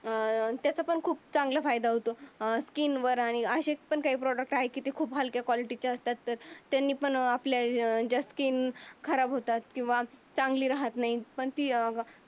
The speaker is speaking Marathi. अं त्याचा पण खूप फायदा आहे. अं स्किनवर आणि अशी काही प्रॉडक्ट आहेत ते खूप हलकया कॉलिटी चे असतात. त्यांनी पण काही जास्ती खराब होतात किंवा चांगली राहत नाही. पण ती अं